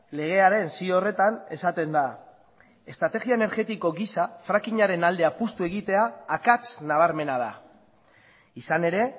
legearen zio horretan esaten da estrategia energetiko gisa fracking aren alde apustu egitea akats nabarmena da izan ere